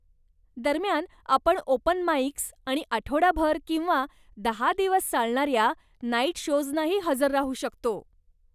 दरम्यान आपण open mics आणि आठवडाभर किंवा दहा दिवस चालणाऱ्या नाईट शोजनाही हजर राहू शकतो.